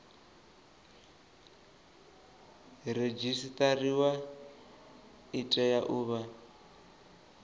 redzisiṱariwa i tea u vha